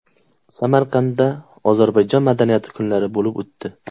Samarqandda Ozarbayjon madaniyati kunlari bo‘lib o‘tdi.